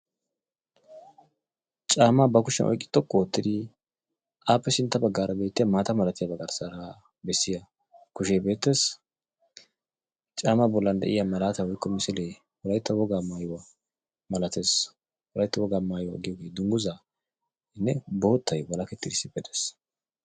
Caamaa ba kushshiyan oyqqi xoqqu oottidi appe sintta baggaara beettiya maata malatiyaaba garssaara bessiya kushee beettees. Caamaa bollan de'iyaa malaatay woykko misilee wolaytta wogaa maayyuwaa malaatees. Wolaytta wogaa maayyuwa giyooge dungguzanne boottay walakettidi issippe dees.